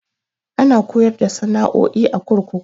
Ana koyar da sana'o'i a kurkuku.